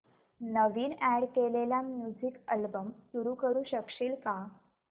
नवीन add केलेला music album सुरू करू शकशील का